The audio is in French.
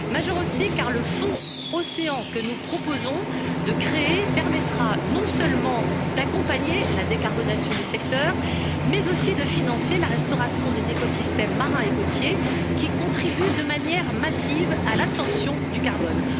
Majeur aussi car le Fonds Océan que nous proposons de créer permettra non seulement d'accompagner la décarbonation du secteur, mais aussi de financer la restauration des écosystèmes marins et côtiers, qui contribuent de manière massive à l'absorption du carbone.